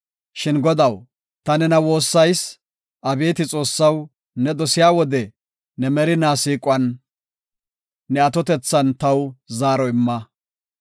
Shin Godaw, ta nena woossayis; abeeti Xoossaw, ne dosiya wode, ne merinaa siiquwan, ne atotethan taw zaaro imma.